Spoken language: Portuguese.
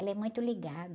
Ela é muito ligada.